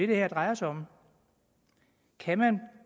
det her drejer sig om kan man